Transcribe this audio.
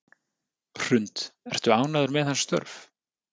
Hrund: Ertu ánægður með hans störf?